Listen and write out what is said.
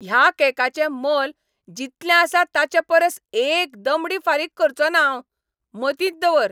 ह्या केकाचें मोल जितलें आसा ताचे परस एक दमडी फारीक करचो ना हांव. मतींत दवर!